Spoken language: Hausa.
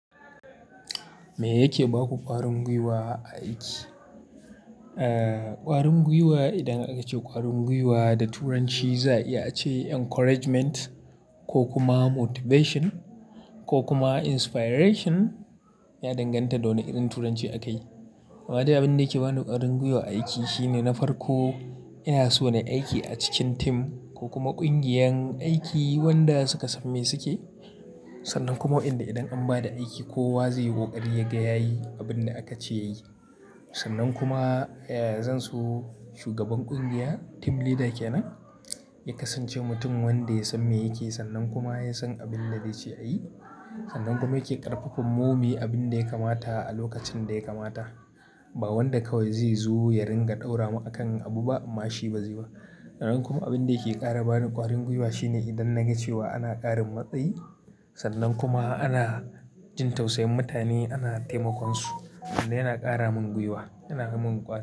Me yake ba ku ƙwarin guiwa a aiki? Eh, ƙwarin guiwa idan aka ce ƙwarin guiwa da turanci za a yi ace encouragement ko kuma motivation ko kuma inspiration, ya danganta da wane irin turanci akayi. Amma dai abinda yake ba ni ƙwarin guiwa a aiki shine na farko, ina so na yi aiki a cikin team ko kuma ƙungiyar aiki wanda suka san me suke. Sannan kuma waƴanda idan an ba da aiki kowa zai yi ƙoƙari yaga ya yi abin da aka ce ya yi. Sannan kuma, eh, zan so shugaban ƙungiya team leader kenan, ya kasance mutum wanda ya san me yake, sannan kuma ya san abin da zai ce a yi. Sannan kuma yake ƙarfafanmu mu yi abin da ya kamata a lokacin da ya kamata. Ba wanda kawai zai zo ya ringa ɗaura ma akan abu ba amma shi ba zai ba. Sannan kuma abin da yake ƙara bani ƙwarin guiwa shine idan na ga cewa ana ƙarin matsayi sannan kuma ana jin tausayin mutane ana taimakon su, wanda yana ƙara min guiwa, yana yi min.